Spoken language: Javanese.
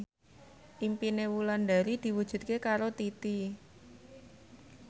impine Wulandari diwujudke karo Titi